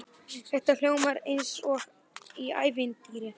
Þetta hljómar eins og í ævintýri.